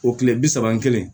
O kile bi saba ni kelen